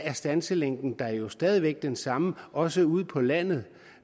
er standselængden jo stadig væk den samme også ude på landet